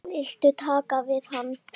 Viltu tala við hana?